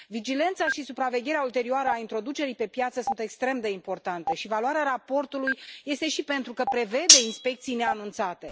Vigilența și supravegherea ulterioară introducerii pe piață sunt extrem de importante și valoarea raportului constă și în faptul că prevede inspecții neanunțate.